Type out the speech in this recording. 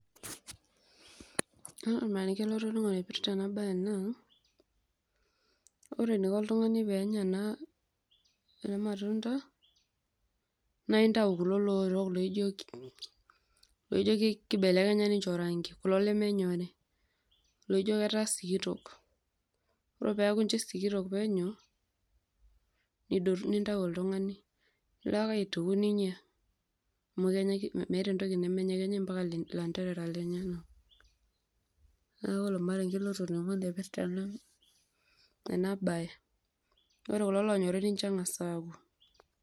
ore olmarenge latoning'o ipirrta ena baye naa, ore eniko oltung'ani peenya ena matunda naa intau kulo lowotok loijo, loijo kibelekenya ninche orangi kulo lemenyori. oijo ketaa sikitok oro peeku inche sikitok penyo nidotu nintau oltung'ani. nilo ake aituku ninyia amu kenyae meeta entoki nemenyae kenyae mpaka ilanterara lenyenak neeku ilo olmarenge lotoning'o loipirrta ena, ena baye ore kulo lonyori nincho neng'as aaku.